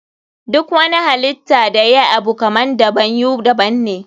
Duk wani halitta da yayi Abu kaman daban you daban ne.